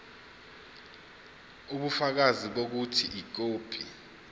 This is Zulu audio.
ubufakazi bokuthi ikhophi